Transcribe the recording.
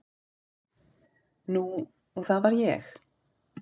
Nú og það var ég.